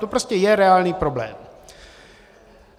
To prostě je reálný problém.